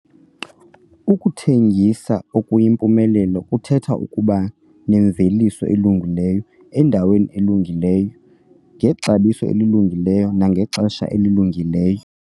Ukuthengisa okuyimpumelelo kuthetha ukuba nemveliso elungileyo, endaweni elungileyo, ngexabiso elilungileyo nangexesha elilungileyo.